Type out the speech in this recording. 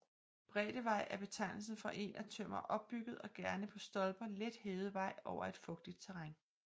Bræddevej er betegnelsen for en af tømmer opbygget og gerne på stolper let hævet vej over et fugtigt terræn